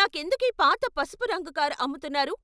నాకెందుకీ పాత పసుపు రంగు కారు అమ్ముతున్నారు?